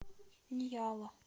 ньяла